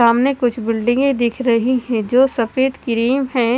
सामने कुछ बिल्डिंगें दिख रही हैं जो सफेद क्रीम हैं।